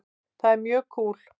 Það er mjög kúl.